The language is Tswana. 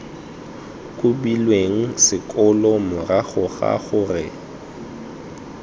kobilweng sekolo morago ga gore